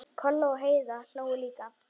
Kolla og Heiða hlógu líka.